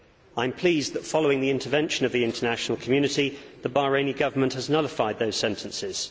I am pleased that, following the intervention of the international community, the Bahraini Government has nullified those sentences.